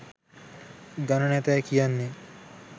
ගණ නැතැයි කියන්නේ